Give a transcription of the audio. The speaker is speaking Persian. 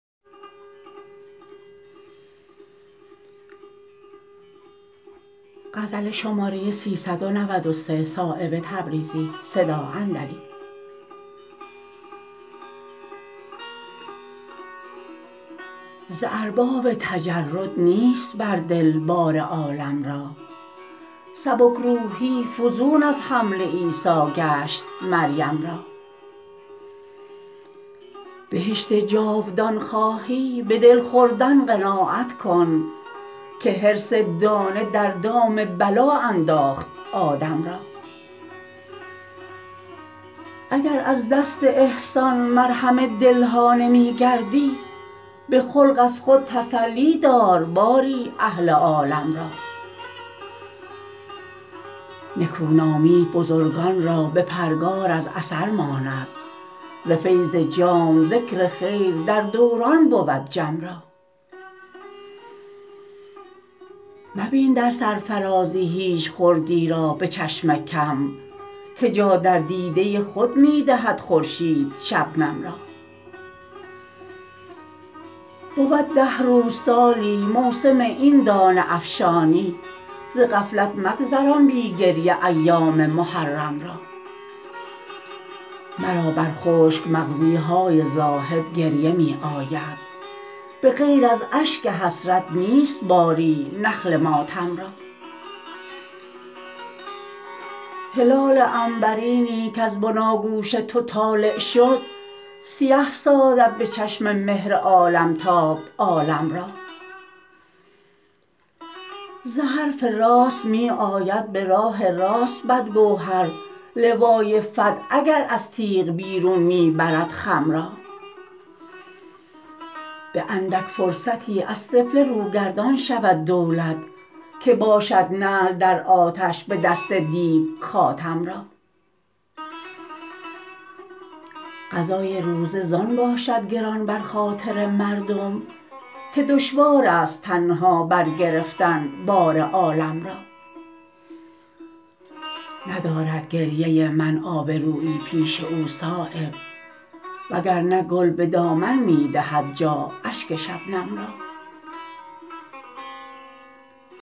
ز ارباب تجرد نیست بر دل بار عالم را سبکروحی فزون از حمل عیسی گشت مریم را بهشت جاودان خواهی به دل خوردن قناعت کن که حرص دانه در دام بلا انداخت آدم را اگر از دست احسان مرهم دل ها نمی گردی به خلق از خود تسلی دار باری اهل عالم را نکو نامی بزرگان را به پرگار از اثر ماند ز فیض جام ذکر خیر در دوران بود جم را مبین در سر فرازی هیچ خردی را به چشم کم که جا در دیده خود می دهد خورشید شبنم را بود ده روز سالی موسم این دانه افشانی ز غفلت مگذران بی گریه ایام محرم را مرا بر خشک مغزی های زاهد گریه می آید به غیر از اشک حسرت نیست باری نخل ماتم را هلال عنبرینی کز بناگوش تو طالع شد سیه سازد به چشم مهر عالمتاب عالم را ز حرف راست می آید به راه راست بد گوهر لوای فتح اگر از تیغ بیرون می برد خم را به اندک فرصتی از سفله رو گردان شود دولت که باشد نعل در آتش به دست دیو خاتم را قضای روزه زان باشد گران بر خاطر مردم که دشوارست تنها بر گرفتن بار عالم را ندارد گریه من آبرویی پیش او صایب وگرنه گل به دامن می دهد جا اشک شبنم را